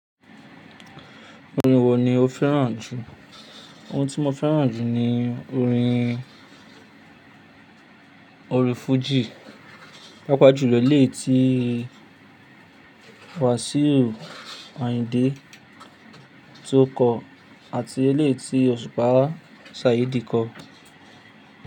Orin wo ni o fẹ́ràn jù? Ohun tí mo fẹ́ràn jù ni orin orin fújì. Pàápàá jùlọ eléyí tí wásíù Àyìndé tó kọ àti ilé tí Òṣùpá Sàídì kọ.